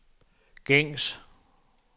gængs